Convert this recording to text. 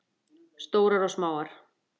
Stórar og smáar.